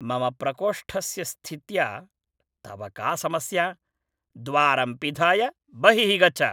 मम प्रकोष्ठस्य स्थित्या तव का समस्या? द्वारं पिधाय बहिः गच्छ।